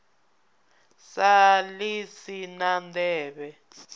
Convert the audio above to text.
sa ḽi si na nḓevhe